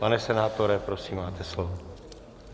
Pane senátore, prosím, máte slovo.